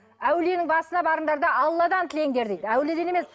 әулиенің басына барыңдар да алладан тілеңдер дейді әулиеден емес